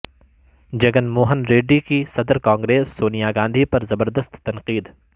جگن موہن ریڈی کی صدر کانگریس سونیا گاندھی پر زبردست تنقید